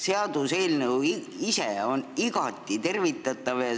Seaduseelnõu ise on igati tervitatav.